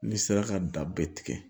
N'i sera ka da bɛ tigɛ